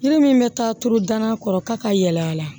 Ne min bɛ taa tuuru danan kɔrɔ ka yɛlɛ a la